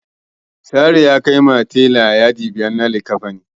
Sale ya kaiwa telan yadi biyar na likkafanin.